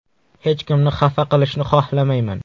Hech kimni xafa qilishni xohlamayman.